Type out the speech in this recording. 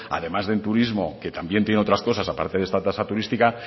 además del turismo que también tiene otras cosas a parte de esta tasa turística